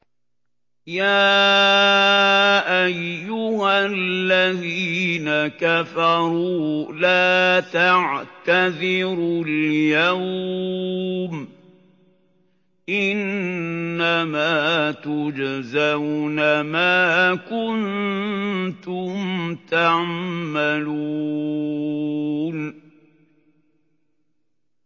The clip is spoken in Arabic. يَا أَيُّهَا الَّذِينَ كَفَرُوا لَا تَعْتَذِرُوا الْيَوْمَ ۖ إِنَّمَا تُجْزَوْنَ مَا كُنتُمْ تَعْمَلُونَ